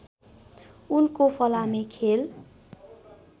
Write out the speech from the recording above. उनको फलामे खेल